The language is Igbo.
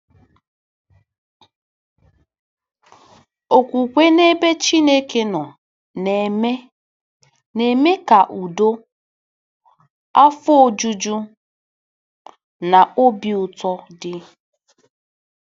Okwukwe n'ebe Chineke nọ na-eme na-eme ka udo, afọ ojuju, na obi ụtọ dị